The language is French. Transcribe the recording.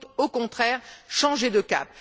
Il faut, au contraire, changer de cap.